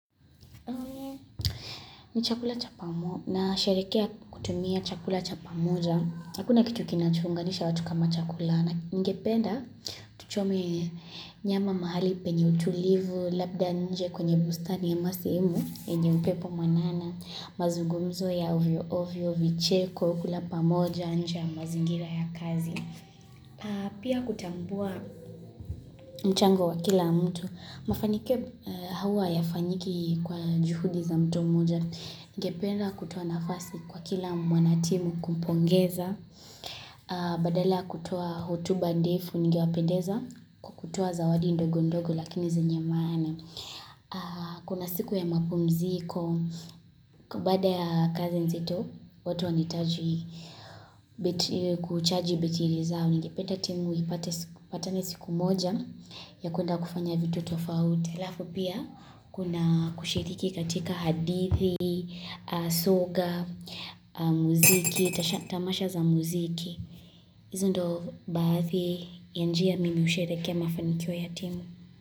Ni chakula cha pamo nasherehekea kutumia chakula cha pamoja. Hakuna kitu kinacho unganisha watu kama chakula na ningependa tuchome nyama mahali penye utulivu labda nje kwenye bustani ya masimu yenye upepo mwanana. Mazugumzo ya uvyo ovyo vicheko kula pamoja nje ya mazingira ya kazi. Pia kutambua mchango wa kila mtu Mafanikio huwa hayafanyiki kwa juhudi za mtu mmoja Ningependa kutoa nafasi kwa kila mwanatimu kumpongeza Badala ya kutoa hotuba ndefu ningewapendeza kutoa zawadi ndogo ndogo lakini zenye maana Kuna siku ya mapumziko baada ya kazi nzito watu wanahitaji battery kuchaji battery zao ningependa timu ipate ipatane siku moja ya kwenda kufanya vitu tofauti. Halafu pia kuna kushiriki katika hadithi, soga, muziki, tamasha za muziki. Hizi ndio baadhi ya njia mimi husherehekea mafaniko ya timu.